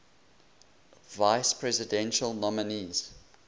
vice presidential nominees